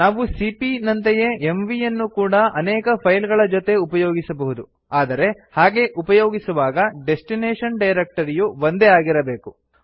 ನಾವು ಸಿಪಿಯ ನಂತೆಯೇ ಎಂವಿ ಯನ್ನು ಕೂಡಾ ಅನೇಕ ಫೈಲ್ ಗಳ ಜೊತೆ ಉಪಯೋಗಿಸಬಹುದು ಆದರೆ ಹಾಗೆ ಉಪಯೋಗಿಸುವಾಗ ಡೆಸ್ಟಿನೇಶನ್ ಡೈರಕ್ಟರಿಯು ಒಂದೇ ಆಗಿರಬೇಕು